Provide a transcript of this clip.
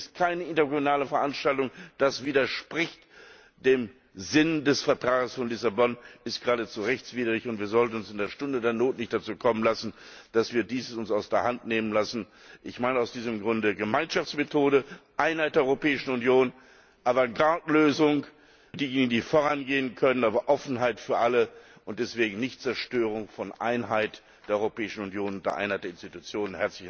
Es ist keine intergouvernementale Veranstaltung, das widerspricht dem Sinn des Vertrags von Lissabon. Es ist geradezu rechtswidrig, und wir sollten es in der Stunde der Not nicht dazu kommen lassen, dass wir uns das aus der Hand nehmen lassen. Ich meine aus diesem Grunde Gemeinschaftsmethode, Einheit der Europäischen Union, aber Avantgarde Lösung für diejenigen, die vorangehen können, aber Offenheit für alle und deswegen nicht Zerstörung der Einheit der Europäischen Union unter einer der Institutionen.